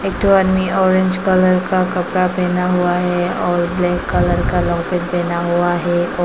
एक दो आदमी ऑरेंज कलर का कपड़ा पहना हुआ है और ब्लैक कलर का पहना हुआ है।